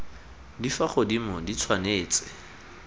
di fa godimo di tshwanetse